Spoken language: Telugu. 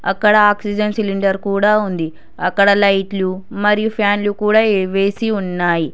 అక్కడ ఆక్సిజన్ సిలిండర్ కూడా ఉంది అక్కడ లైట్లు మరియు ఫ్యాన్లు కూడా ఏ వేసి ఉన్నాయి.